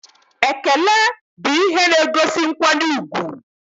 Ekele bụ ihe na-egosi nkwanye ùgwù